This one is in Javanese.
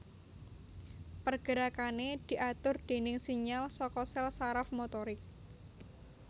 Pergerakané diatur déning sinyal saka sèl saraf motorik